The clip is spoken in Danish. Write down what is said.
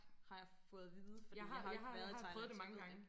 Har jeg fået at vide fordi jeg har jo ikke været i Thailand så jeg ved det ikke